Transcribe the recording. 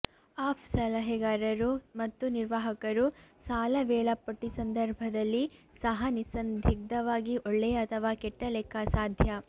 of ಸಲಹೆಗಾರರು ಮತ್ತು ನಿರ್ವಾಹಕರು ಸಾಲ ವೇಳಾಪಟ್ಟಿ ಸಂದರ್ಭದಲ್ಲಿ ಸಹ ನಿಸ್ಸಂದಿಗ್ಧವಾಗಿ ಒಳ್ಳೆಯ ಅಥವಾ ಕೆಟ್ಟ ಲೆಕ್ಕ ಅಸಾಧ್ಯ